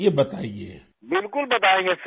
راجیش پرجاپتی بالکل بتائیں گے سر